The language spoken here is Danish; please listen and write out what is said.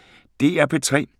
DR P3